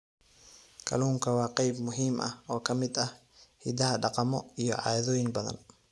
Kalluunku waa qayb muhiim ah oo ka mid ah hiddaha dhaqamo iyo caadooyin badan.